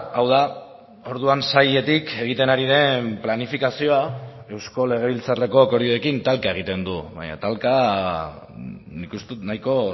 hau da orduan sailetik egiten ari den planifikazioa eusko legebiltzarreko akordioekin talka egiten du baina talka nik uste dut nahiko